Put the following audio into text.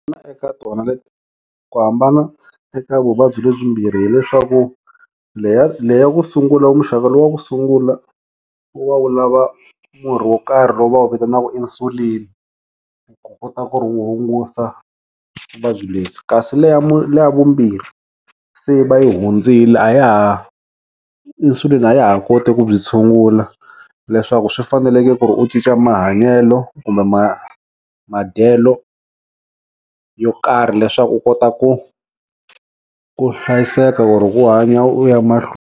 Na eka tona leti ku hambana eka vuvabyi lebyi mbirhi hileswaku leya leya ku sungula u muxaka wa ku sungula wa wu lava murhi wo karhi lowu va wu vitanaka insulin u kota ku ri hungusa vuvabyi lebyi kasi le leya vumbirhi se va yi hundzile a ya ha insulin a ya ha koti ku byi tshungula leswaku swi faneleke ku ri u cinca mahanyelo kumbe ma madyelo yo karhi leswaku u kota ku ku hlayiseka ku ri ku hanya u ya mahlweni.